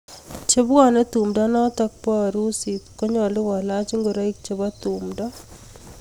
Chepwone tumdo notok bo arusit konyalu kolach ingoroik chebo tumdo .